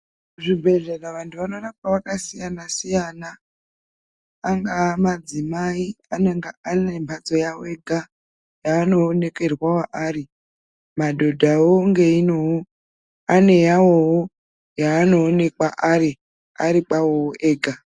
Zvibhedhlera vantu vanorapwa vakasiyana siyana angaa madzimai anenge anemhatso yawo ega yaanoonekerwawo ari madhodhawo ngeinoo aneyaawoo yaanoonekwa ari kwaoo ega.